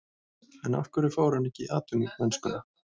En af hverju fór hann ekki í atvinnumennskuna?